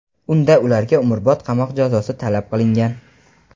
Unda ularga umrbod qamoq jazosi talab qilingan.